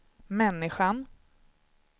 människan